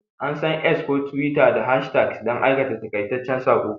An san X ko Twitter don hashtags da aika taƙaitaccen saƙo.